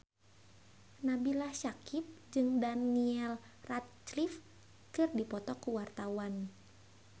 Nabila Syakieb jeung Daniel Radcliffe keur dipoto ku wartawan